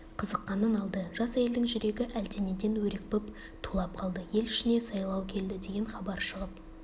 қызыққанын алды жас әйелдің жүрегі әлденеден өрекпіп тулап қалды ел ішіне сайлау келді деген хабар шығып